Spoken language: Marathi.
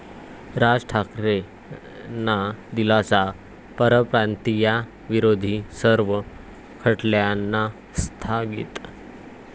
राज ठाकरेंना दिलासा, परप्रांतियांविरोधी सर्व खटल्यांना स्थगिती